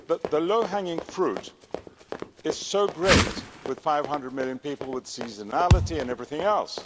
The low hanging fruit is so great with 500 million people, with seasonality and everything else.